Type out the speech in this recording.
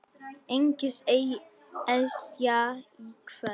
Engin Esja í kvöld.